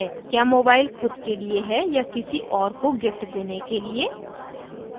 क्या मोबाइल खुद के लिए है या किसी और को गिफ्ट देने के लिए